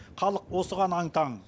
халық осыған аң таң